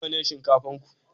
Nawa shinkafan ku?